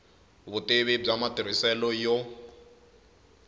vutivi bya matirhiselo ya